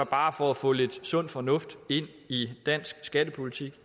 bare for at få lidt sund fornuft ind i dansk skattepolitik